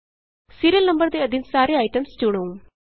serial number ਦੇ ਅਧੀਨ ਸਾਰੇ ਆਈਟਮਸ ਚੁਣੋ